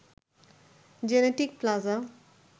genetic প্লাজায়